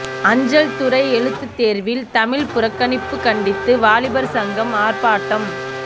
அஞ்சல் துறை எழுத்துத்தேர்வில் தமிழ் புறக்கணிப்பு கண்டித்து வாலிபர் சங்கம் ஆர்ப்பாட்டம்